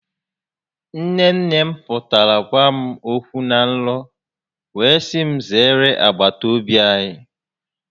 Nne nne m pụtara gwa m okwu na nrọ wee si m zeere agbatobi anyị